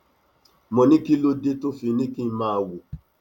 mo ní kí ló dé tó fi ní kí n máa wò